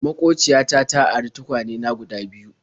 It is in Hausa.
Maƙociya ta ta ari tukwane na guda biyu.